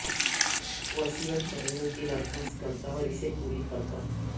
وصیت کرنے کی درخواست کرتا اور اسے پوری کرتا